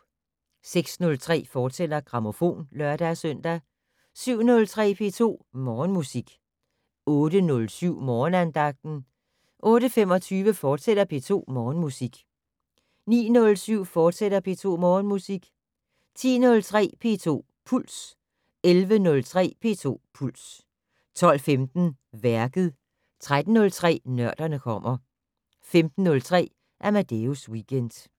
06:03: Grammofon, fortsat (lør-søn) 07:03: P2 Morgenmusik 08:07: Morgenandagten 08:25: P2 Morgenmusik, fortsat 09:07: P2 Morgenmusik, fortsat 10:03: P2 Puls 11:03: P2 Puls 12:15: Værket 13:03: Nørderne kommer 15:03: Amadeus Weekend